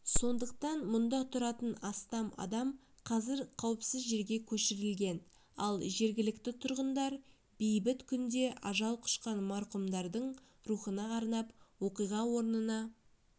сондықтан мұнда тұратын астам адам қазір қауіпсіз жерге көшірілген ал жергілікті тұрғындар бейбіт күнде ажал құшқан марқұмдардың рухына арнап оқиға орнына